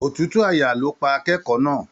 Òtútù àyà ló pa akẹ́kọ̀ọ́ náà.